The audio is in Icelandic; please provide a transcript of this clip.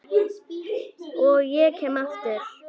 Og ég kem aftur.